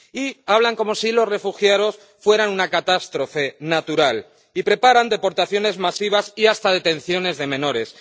Y hablan como si los refugiados fueran una catástrofe natural, y preparan deportaciones masivas y hasta detenciones de menores.